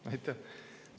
Aitäh!